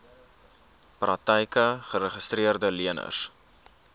praktyke geregistreede leners